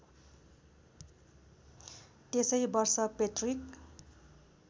त्यसै वर्ष पेट्रिक